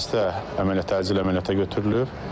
Xəstə əməliyyat təcili əməliyyata götürülüb.